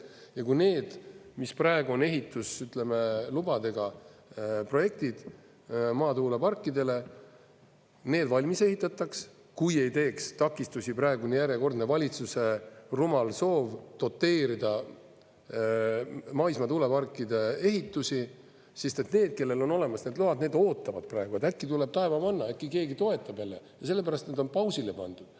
Ja kui need, mis praegu on ehituslubadega projektid, maatuuleparkidele, valmis ehitataks, kui ei teeks takistusi praegune järjekordne valitsuse rumal soov doteerida maismaatuuleparkide ehitusi, sest need, kellel on olemas need load, need ootavad praegu, et äkki tuleb taevamanna, äkki keegi toetab jälle, sellepärast et nad on pausile pandud.